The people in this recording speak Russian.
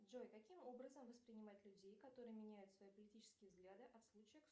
джой каким образом воспринимать людей которые меняют свои политические взгляды от случая к случаю